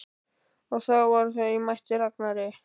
Og það var þá sem ég mætti Ragnari.